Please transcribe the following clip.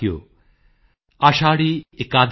जातिजाति में जाति है